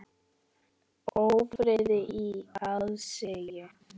Ófriði í aðsigi.